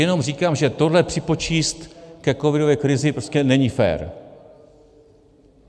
Jenom říkám, že tohle připočíst ke covidové krizi prostě není fér.